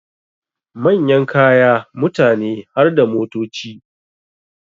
Manyan kaya, mutane harda motoci